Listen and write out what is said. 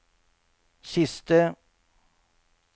siste